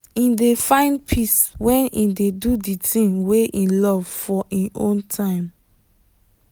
him dey find peace when him dey do the thing wey him love for him own time.